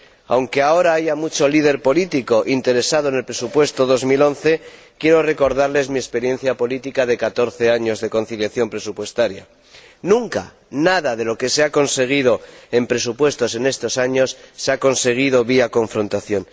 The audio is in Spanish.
Aunque ahora haya mucho líder político interesado en el presupuesto de 2011, quiero recordarles mi experiencia política de catorce años de conciliación presupuestaria. Nunca, nada de lo que se ha conseguido en presupuestos en estos años se ha conseguido por la vía de la confrontación.